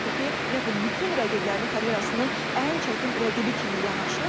Onu dəyərləndirmişdi və demişdi ki, ümumiyyətlə bütün rəqiblərini karyerasının ən çətin rəqibi kimi yanaşır.